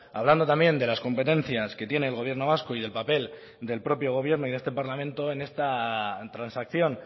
hablando también de las competencias que tiene el gobierno vasco y del papel del propio gobierno y de este parlamento en esta transacción